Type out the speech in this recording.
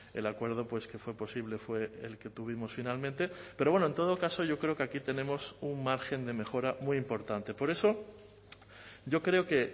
el acuerdo pues que fue posible fue el que tuvimos finalmente pero bueno en todo caso yo creo que aquí tenemos un margen de mejora muy importante por eso yo creo que